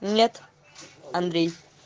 нет андрей